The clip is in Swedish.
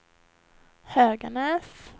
Höganäs